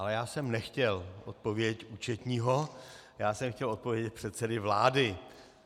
Ale já jsem nechtěl odpověď účetního, já jsem chtěl odpověď předsedy vlády.